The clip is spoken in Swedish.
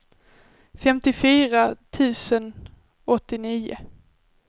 femtiofyra tusen åttionio